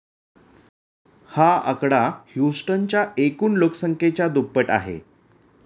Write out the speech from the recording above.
हा आकडा ह्युस्टनच्या एकूण लोकसंख्येच्या दुप्पट आहे.